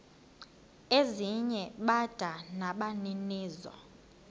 ezinye bada nabaninizo